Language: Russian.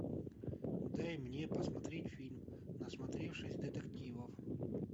дай мне посмотреть фильм насмотревшись детективов